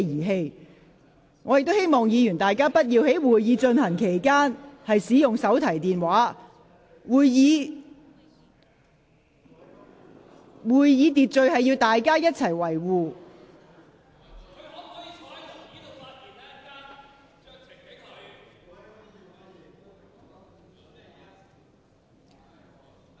我亦提醒議員不應在會議進行期間使用手提電話，議員應遵守會議秩序。